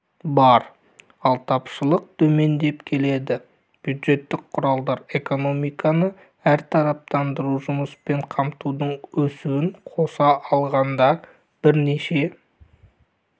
бар ал тапшылық төмендеп келеді бюджеттік құралдар экономиканы әртараптандыру жұмыспен қамтудың өсуін қоса алғанда бірнеше